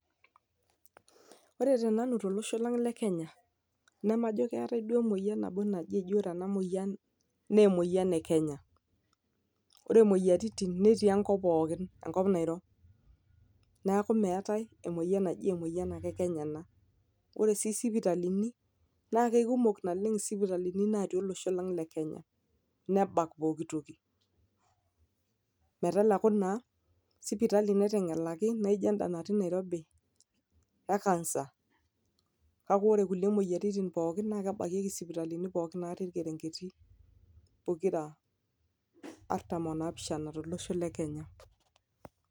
ore tenanu tollosho lang le kenya nemajo keetae duo emoyian nabo naji eji ore ena moyian eji ore ena moyian naa emoyian ekenya ore imoyiaritin netii enkop pookin enkop nairo neeku meetae emoyian naji emoyian ake ekenya ena ore sii isipitalini naa keikumok naleng isipitalini natii olosho lang le kenya nebak pokitoki meteleku naa sipitali naiteng'eleki naijoenda natii nairobi e cancer kake ore kulie moyiaritin pookin naa kebakieki isipitalini pookin natii irkerengeti pokira artam onapishana tolosho le kenya.